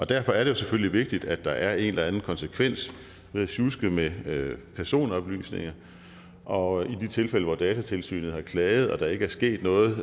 derfor er det selvfølgelig vigtigt at der er en eller anden konsekvens ved at sjuske med med personoplysninger og i de tilfælde hvor datatilsynet har klaget og der ikke er sket noget